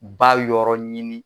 Ba yɔrɔ ɲini.